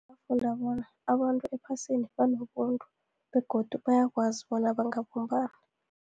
Bafunda bona abantu ephasini banobuntu, begodu bayakwazi bona bangabumbani